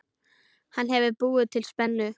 Hann hefur búið til spennu.